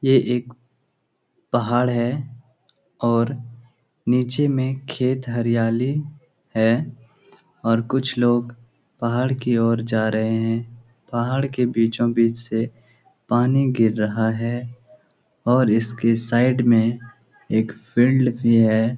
ये एक पहाड़ है और नीचे में खेत हरियाली है और कुछ लोग पहाड़ की ओर जा रहें हैं। पहाड़ के बीचो-बीच से पानी गिर रहा है और इसके साइड में एक फील्ड भी है।